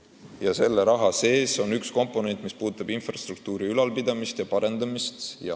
Ja selle raha sees on üks komponent kulud infrastruktuuri ülalpidamiseks ja parandamiseks.